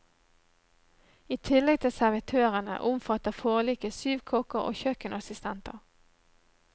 I tillegg til servitørene, omfatter forliket syv kokker og kjøkkenassistenter.